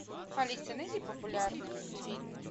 алиса найди популярные мультфильмы